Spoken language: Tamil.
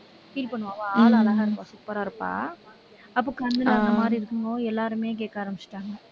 feel பண்ணுவா அவ ஆளு அழகா இருப்பா super ஆ இருப்பா. அப்போ கண்ணு இந்த மாதிரி இருக்கும்போது, எல்லாருமே கேட்க ஆரம்பிச்சுட்டாங்க.